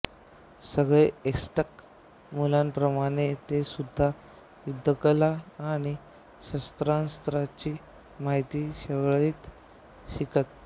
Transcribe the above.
सगळे अझ्टेक मुलांप्रमाणे तेसुद्धा युद्धकला आणि शस्त्रास्त्रांची महिती शळेत शिकत